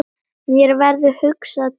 Mér verður hugsað til Ófeigs.